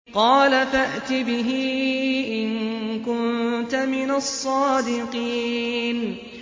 قَالَ فَأْتِ بِهِ إِن كُنتَ مِنَ الصَّادِقِينَ